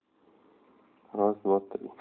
раз два три